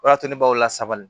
O de y'a to ne b'aw lasabali